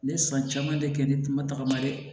Ne ye san caman de kɛ ne tun ma tagama dɛ